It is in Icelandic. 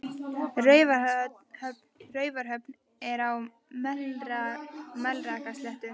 Raufarhöfn er á Melrakkasléttu.